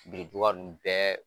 Biriduwa nn bɛɛ